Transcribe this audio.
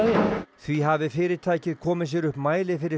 því hafi fyrirtækið komið sér upp mæli fyrir